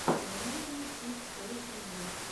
эмейзинг кидс тойс ревью